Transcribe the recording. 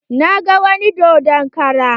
Na ga wani dodon kara